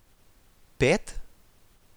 Pet?